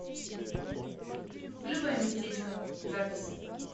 клевое местечко запись